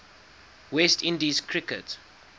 west indies cricket